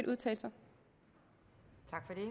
udtalelser